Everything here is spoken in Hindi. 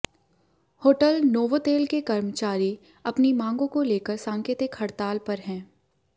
होटल नोवोतेल के कर्मचारी अपनी मांगों को लेकर सांकेतिक हड़ताल पर हैं